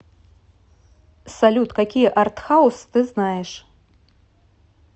салют какие артхаус ты знаешь